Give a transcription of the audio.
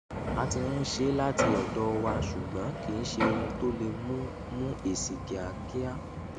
a ti ń ṣe láti ọdọ wa ṣùgbọn kìí ṣe ohun tó lè mú mú èsì kíákíá